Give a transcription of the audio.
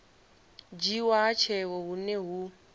dzhiiwa ha tsheo hune hu